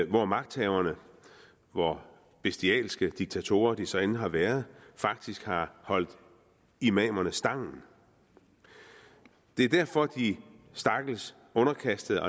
hvor magthaverne hvor bestialske diktatorer hvem de så end har været faktisk har holdt imamerne stangen det er derfor de stakkels underkastede